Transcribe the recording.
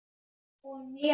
Þetta er bara svo skýr mynd.